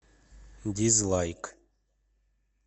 дизлайк